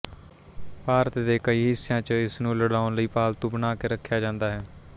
ਭਾਰਤ ਦੇ ਕਈ ਹਿਸਿਆਂ ਚ ਇਸਨੂੰ ਲੜਾਉਣ ਲਈ ਪਾਲਤੂ ਬਣਾ ਕੇ ਰਖਿਆ ਜਾਂਦਾ ਹੈ